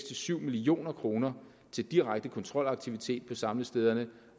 til syv million kroner til direkte kontrolaktivitet på samlestederne